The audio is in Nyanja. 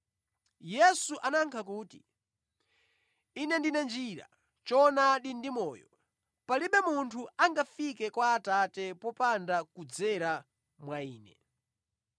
Yesu anayankha kuti, “Ine ndine njira, choonadi ndi moyo. Palibe munthu angafike kwa Atate popanda kudzera mwa Ine.